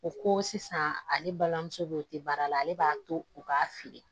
O ko sisan ale balimamuso bɛ baara la ale b'a to u b'a feere